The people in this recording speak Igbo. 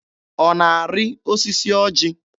Ọ na-arị osisi ọjị?